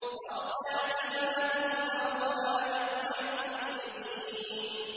فَاصْدَعْ بِمَا تُؤْمَرُ وَأَعْرِضْ عَنِ الْمُشْرِكِينَ